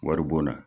Wari bon na